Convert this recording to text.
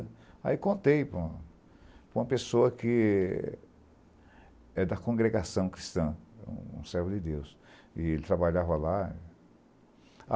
Aí contei para para uma pessoa que é da congregação cristã, um servo de Deus, e ele trabalhava lá.